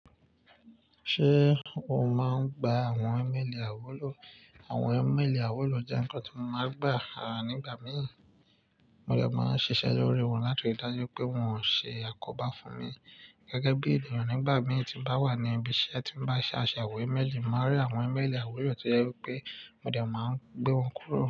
Ṣé o máa ń gba àwọn imeeli àiwúlò? Àwọn email àiwúlò jẹ́ ǹkan tí mo máa ń gbà a nígbà mìí. Mo dẹ̀ máa ń ṣiṣẹ́ lórí wọn láti rí i dájú pé wọn ò ṣe àkóbá fún mi. Gẹ́gẹ́ bí ènìyàn nígbà mìi tí n bá wà ní ibi iṣẹ́ tí ń bá ṣàṣàwó email, mo máa rí àwọn email àiwúlò to je wipe mo dẹ̀ máa ń gbé wọn kúrò.